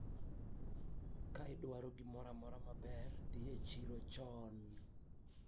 ukitaka chochote kizuri uende sokoni mapema